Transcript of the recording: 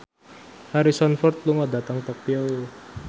Harrison Ford lunga dhateng Tokyo